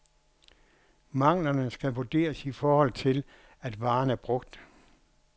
Manglerne skal vurderes i forhold til, at varen er brugt.